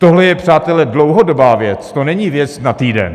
Tohle je, přátelé, dlouhodobá věc, to není věc na týden.